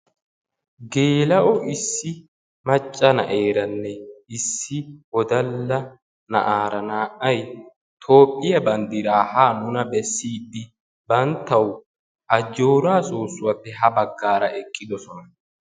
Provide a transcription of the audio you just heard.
Geela'o issi macca na'eeranne issi wodalla na'aara naa'ay Toophphiya banddiraa ha nuna bessiidi banttawu Ajjooraa soossuwappe ha baggaara eqqidosona.